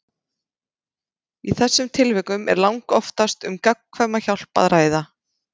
Í þessum tilvikum er langoftast um gagnkvæma hjálp að ræða.